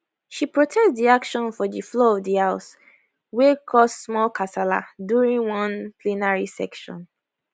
she protest di action for di floor of di house wey cause small kasala during one plenary session